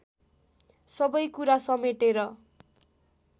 सबै कुरा समेटेर